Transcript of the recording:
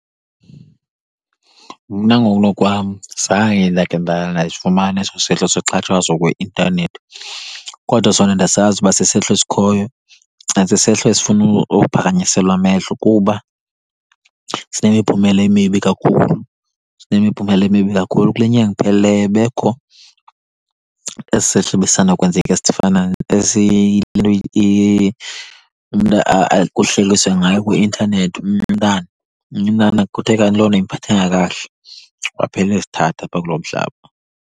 Mna ngokunokwam zange ndakhe ndasifumana eso sehlo soxhatshazwa kwi-intanethi. Kodwa sona ndiyasazi uba sisehlo esikhoyo and sisehlo esifuna uphakanyiselwa amehlo, kuba sinemiphumela emibi kakhulu, sinemiphumela emibi kakhulu. Kule nyanga iphelileyo bekukho esi sehlo besisandawukwenzeka esifana , into umntu kuhlekiswe ngaye kwi-intanethi. Omnye umntana, omnye umntana kuthe kanti loo nto ayimphathanga kakuhle, waphela ezithatha apha kulo mhlaba.